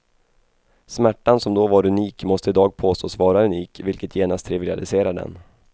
Smärtan som då var unik måste i dag påstås vara unik, vilket genast trivialiserar den.